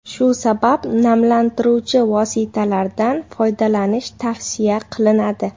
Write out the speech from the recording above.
Shu sabab namlantiruvchi vositalardan foydalanish tavsiya qilinadi.